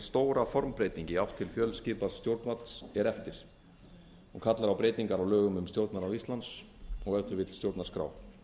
stóra formbreyting í átt til fjölskipaðs stjórnvalds er eftir hún kallar á breytingar á lögum um stjórnarráð íslands og ef til vill stjórnarskrá